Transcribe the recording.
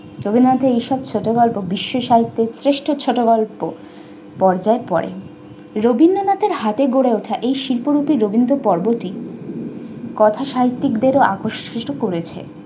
রবীন্দ্রনাথের এসব ছোট গল্প বিশ্ব সাহিত্যের শ্রেষ্ঠ ছোট গল্পর পর্যায়ে পরে। রবীন্দ্রনাথের হাতে গড়ে ওঠা এই শিল্পরুপি রবীন্দ্র পর্বটি, কথা সাহিত্যিকদের আকর্ষিত করেছে।